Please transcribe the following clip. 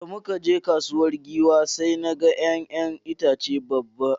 Da na je kasuwar Giwa sai na ga wani ’ya’yan itace daban.